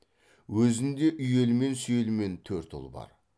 өзінде үйелмен сүйелмен төрт ұл бар